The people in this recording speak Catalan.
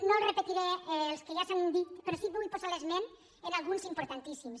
no repetiré els que ja s’han dit però sí que vull posar l’esment en alguns d’importantíssims